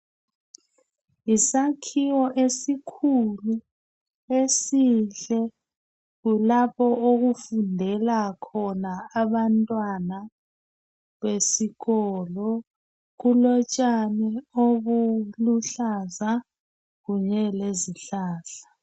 Yisakhiwo esikhulu, esihle kulapho okufundela khona abantwana besikolo. Kulotshani obuluhlaza kunye lezihlahla.